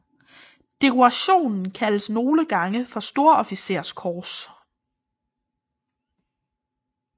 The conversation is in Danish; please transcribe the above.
Dekorationen kaldes nogle gange et storofficerskors